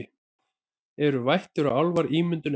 Eru vættir og álfar ímyndun ein